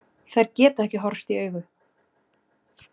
Þær geta ekki horfst í augu.